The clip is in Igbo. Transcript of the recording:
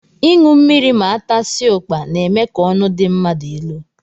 Ịṅụ mmiri ma atasia ukpa n'eme ka ọnụ dị mmadụ ịlụ